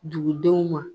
Dugudenw ma